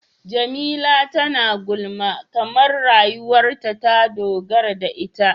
Jamila tana gulma kamar rayuwarta ta dogara da ita.